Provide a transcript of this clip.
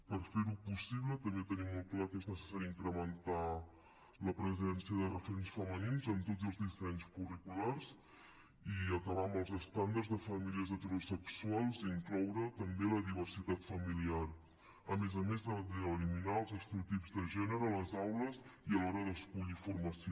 per fer ho possible també tenim molt clar que és necessari incrementar la presència de referents femenins en tots els dissenys curriculars i acabar amb els estàndards de famílies heterosexuals i incloure també la diversitat familiar a més a més d’eliminar els estereotips de gènere a les aules i a l’hora d’escollir formació